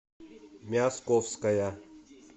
мясковская